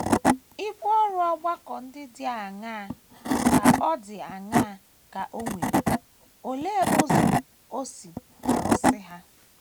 Ibu ọrụ ọgbakọ ndị dị aṅaa ka dị aṅaa ka o nwere, oleekwa ụzọ o si arụzu ha?